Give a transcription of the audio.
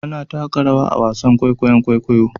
Ana taka rawa a wasan kwaikwayon kwaikwayo